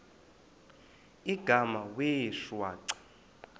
igama wee shwaca